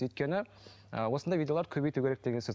өйткені ыыы осындай видеолар көбейту керек деген сөз